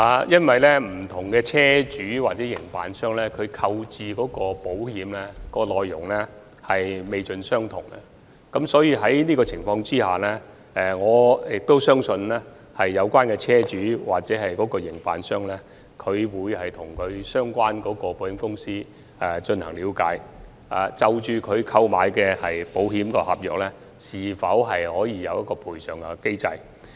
因為不同車主或營辦商購置保險的內容不盡相同，在這樣的情況下，我相信有關的車主或營辦商會向相關的保險公司，了解他們購買的保險合約是否有賠償機制。